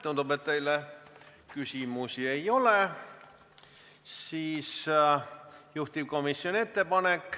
Tundub, et teile küsimusi ei ole.